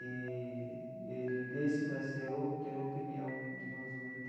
E ele desde que nasceu tem uma opinião, digamos, muito